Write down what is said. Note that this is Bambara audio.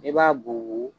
I b'a bugubugu